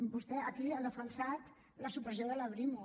vostè aquí ha defensat la supressió de la brimo